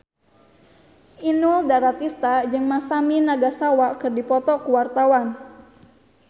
Inul Daratista jeung Masami Nagasawa keur dipoto ku wartawan